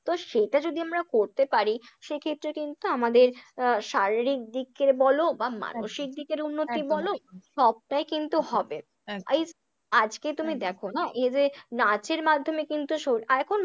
তো সেইটা যদি আমরা করতে পার, সেক্ষেত্রে কিন্তু আমাদের আহ শারীরিক দিককে বলো বা মানসিক দিকের উন্নতি বলো, সবটাই কিন্তু হবে, একদম এই আজকে তুমি দেখো না, এই যে নাচের মাধ্যমে কিন্তু আর এখন